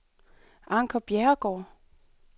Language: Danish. Anker Bjerregaard